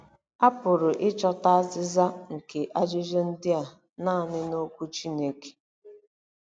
A pụrụ ịchọta azịza nke ajụjụ ndị a nanị n’Okwu Chineke.